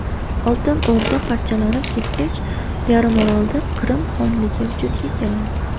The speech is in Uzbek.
Oltin O‘rda parchalanib ketgach, yarimorolda Qrim xonligi vujudga keladi.